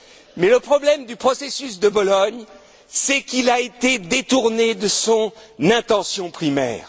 Mais le problème du processus de Bologne, c'est qu'il a été détourné de son intention primaire.